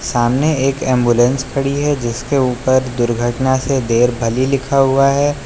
सामने एक एंबुलेंस खड़ी है जिसके ऊपर दुर्घटना से देर भली लिखा हुआ है।